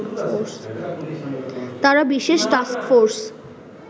তারা বিশেষ টাস্কফোর্স